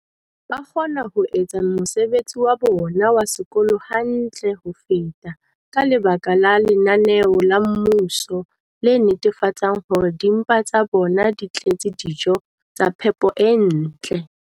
ba kgona ho etsa mosebetsi wa bona wa sekolo hantle ho feta ka lebaka la lenaneo la mmuso le netefatsang hore dimpa tsa bona di tletse dijo tsa phepo e ntle.